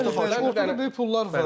Ortada böyük pullar var.